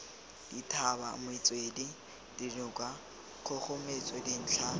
dithaba metswedi dinoka kgogometso dintlha